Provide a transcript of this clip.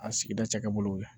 A sigida cakɛ bolow ye